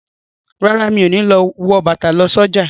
Rárá, Mi o no wọ bàtà lọ sí ọjà.